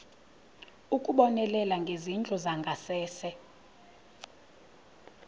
ukubonelela ngezindlu zangasese